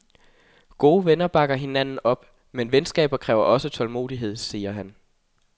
Gode venner bakker hinanden op, men venskaber kræver også tålmodighed, sagde han.